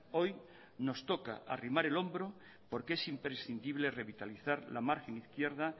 hoy nos toca arrimar el hombro porque es imprescindible revitalizar la margen izquierda